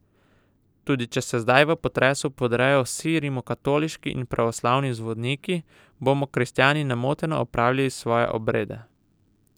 Tudi če se zdaj v potresu podprejo vsi rimokatoliški in pravoslavni zvoniki, bomo kristjani nemoteno opravljali svoje obrede.